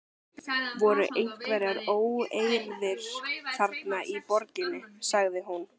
Voru einhverjar óeirðir þarna í borginni? sagði hún.